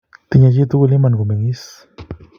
Tinyei chi tugul iman kumen'gis